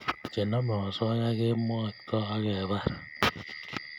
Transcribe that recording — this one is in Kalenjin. chenamei osoya kemwaita akepar